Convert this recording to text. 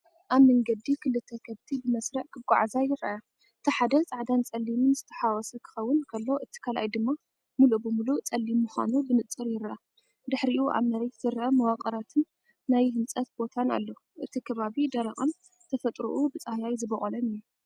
ኣብ መንገዲ ክልተ ከብቲ ብመስርዕ ክጓዓዛ ይረኣያ። እቲ ሓደ ጻዕዳን ጸሊምን ዝተሓዋወሰ ክኸውን ከሎ፡እቲ ካልኣይ ድማ ምሉእ ብምሉእ ጸሊም ምዃኑ ብንጹር ይርአ። ድሒሩ ኣብ መሬት ዝርአ መዋቕራትን ናይ ህንፀት ቦታን ኣሎ። እቲ ከባቢ ደረቕን ብተፈጥሮኡ ብጻህያይ ዝበቖለን እዩ።